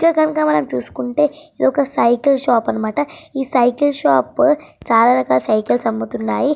ఈ పిక్చర్ నీ గనుక మనం చూసుకుంటే ఇదొక సైకిల్ షాప్ అన్నమాట. ఈ సైకిల్ షాపు లో చాలా రకాల సైకిల్స్ అమ్ముతున్నాయి.